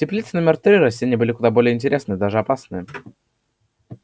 в теплице номер три растения были куда более интересные даже опасные